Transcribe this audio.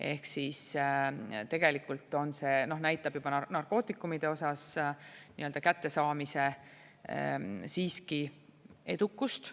Ehk siis tegelikult see näitab juba narkootikumide osas nii-öelda kättesaamise siiski edukust.